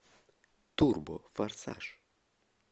турбо форсаж